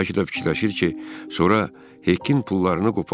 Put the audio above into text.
Bəlkə də fikirləşir ki, sonra Hekkin pullarını qoparsın.